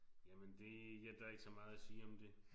Jamen det ja der er ikke så meget at sige om det